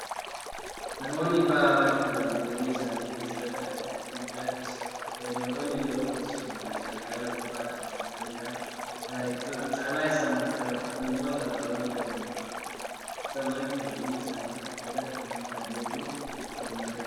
Namoonni ba'aa baachuudhaan jireenya isaanii adeemsifatan dadhabbii guddaa keessa oolu. Fayyadamtoonni garuu keessumaa meeshaalee haala salphaadhaan cabuu danda'an gaariitti fe'uu caala isaan baachifatu. Kun immoo carraa hojii dabalataa ta'eefiira. Haata'u malee gatiin isaan irraa argatan humna isaanii wajjin walhinmadaalu.